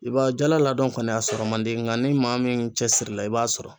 I b'a jala laadon kɔni a sɔrɔ man di n ka ni maa min cɛsirila i b'a sɔrɔ.